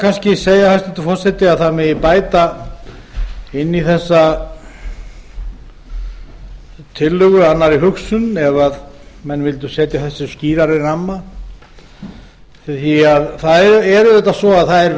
kannski segja hæstvirtur forseti að það megi bæta inn í þessa tillögu annarri hugsun ef menn vildu setja þessu skýrari ramma því það er auðvitað svo að það er